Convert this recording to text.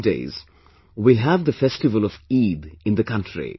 In the coming days, we will have the festival of Eid in the country